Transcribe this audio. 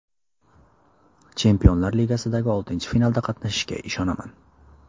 Chempionlar Ligasidagi oltinchi finalda qatnashishga ishonaman.